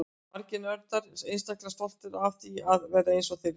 Margir nördar eru einstaklega stoltir af því að vera eins og þeir eru.